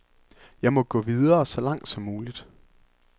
Jeg må gå videre, så langt som muligt.